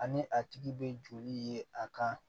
Ani a tigi bɛ joli ye a kan